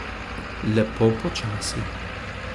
Lepo počasi.